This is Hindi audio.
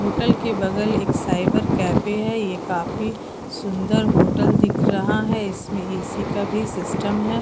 होटल के बगल एक साइबर कैफ़े है ये काफी सुंदर होटल दिख रहा है इसमें ए_सी का भी सिस्टम है।